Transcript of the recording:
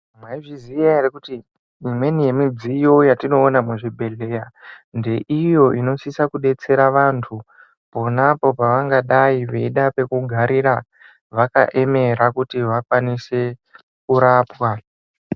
Mwaizviziya ere kuti imweeni yemitombo yetinoona muzvibhehlera ndeiyo inosise kudetsera vantu ponapo pavangadai veida pekugarira vakaemera kuti vakwanise kurapwa.